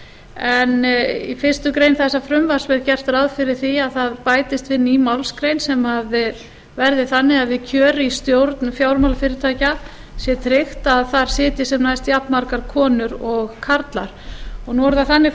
en í fyrstu grein þessa frumvarps er gert ráð fyrir því að það bætist inn ný málsgrein sem verði þannig við kjör í stjórn fjármálafyrirtækja skal tryggt að þar sitji sem næst jafnmargar konur og karlar nú er það þannig